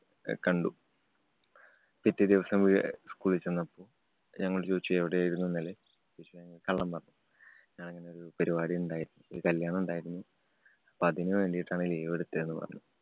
കണ്ടു. പിറ്റേ ദിവസം ഏ~ school ല്‍ ചെന്നപ്പൊ ഞങ്ങളോട് ചോദിച്ചു എവിടെയായിരുന്നു ഇന്നലെ? ഞങ്ങള് കള്ളം പറഞ്ഞു. ഞാന്‍ ഇങ്ങനെ ഒരു പരിപാടിണ്ടായിരുന്നു. ഒരു കല്യാണം ഇണ്ടായിരുന്നു. അപ്പൊ അതിനു വേണ്ടീട്ടാണ് leave എടുത്തേ എന്ന് പറഞ്ഞു.